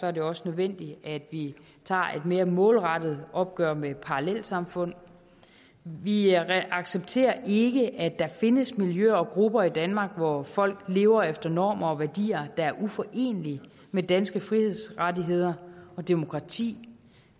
er det også nødvendigt at vi tager et mere målrettet opgør med parallelsamfund vi accepterer ikke at der findes miljøer og grupper i danmark hvor folk lever efter normer og værdier der er uforenelige med danske frihedsrettigheder og demokrati